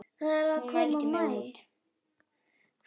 Hún mældi mig út.